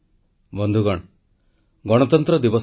• ଶାନ୍ତିପୂର୍ଣ୍ଣ ଭାବେ ସମସ୍ୟା ସମାଧାନ ଲାଗି ଦେଶବାସୀଙ୍କୁ ଆହ୍ୱାନ